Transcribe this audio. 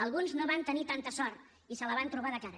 alguns no van tenir tanta sort i se la van trobar de cara